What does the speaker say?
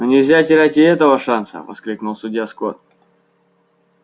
но нельзя терять и этого шанса воскликнул судья скотт